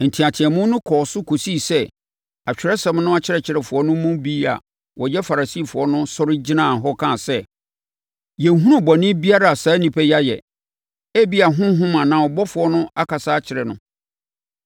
Nteateamu no kɔɔ so kɔsii sɛ Atwerɛsɛm no akyerɛkyerɛfoɔ no mu bi a wɔyɛ Farisifoɔ no sɔre gyinaa hɔ kaa sɛ, “Yɛnhunu bɔne biara a saa onipa yi ayɛ! Ebia honhom anaa ɔbɔfoɔ na ɔkasa kyerɛɛ no!”